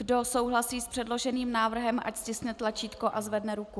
Kdo souhlasí s předloženým návrhem, ať stiskne tlačítko a zvedne ruku.